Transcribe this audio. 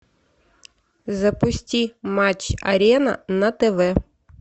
запусти матч арена на тв